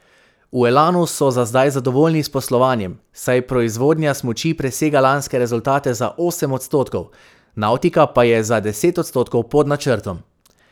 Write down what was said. V Elanu so za zdaj zadovoljni s poslovanjem, saj proizvodnja smuči presega lanske rezultate za osem odstotkov, navtika pa je za deset odstotkov pod načrtom.